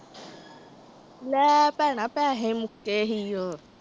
ਲੈ ਭੈਣਾਂ ਪੈਸੇ ਮੁੱਕੇ ਸੀ ਉਹ।